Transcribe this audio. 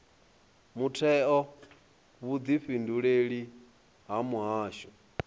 muthetho na vhudifhinduleli ha mihasho